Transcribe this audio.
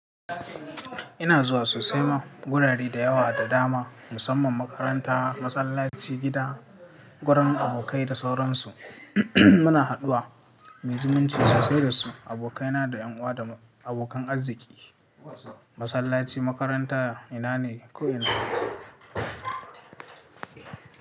Ina zuwa sosai ma wurare da yawa da dama musamman makaranta, masallaci, gida, wurin abokai da sauransu. Muna haduwa, muyi zumunci sosai da su abokaina da ƴan uwa da abokan arziki. Masallaci, makaranta ina ne ko ina.